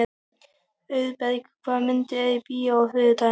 Auðberg, hvaða myndir eru í bíó á þriðjudaginn?